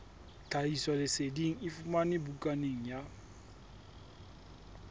tlhahisoleseding e fumanwe bukaneng ya